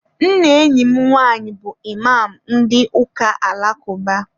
Nna enyi m nwaanyị bụ Ịmam ndị ụka alakụba.